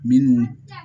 Minnu